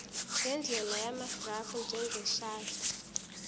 ngendlela yamagrafu njengeshadi